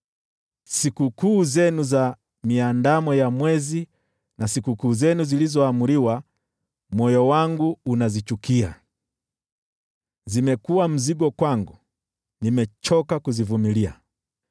Sikukuu zenu za Miandamo ya Mwezi, na sikukuu zenu zilizoamriwa: moyo wangu unazichukia. Zimekuwa mzigo kwangu, nimechoka kuzivumilia.